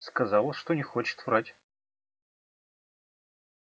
сказала что не хочет врать